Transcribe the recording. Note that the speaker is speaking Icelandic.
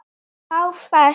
Þá fékk